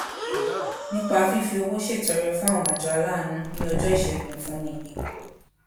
nípa fífi owó ṣètọrẹ fún àwọn àjọ aláàánú ní ọjọ iṣẹgun ìfúnni yìí